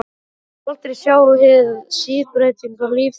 Ég mun aldrei sjá hið síbreytilega líf þeirra augum.